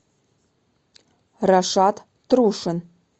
рашат трушин